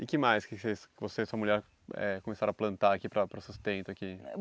E que mais que você você e sua mulher eh começaram a plantar aqui para para sustento aqui?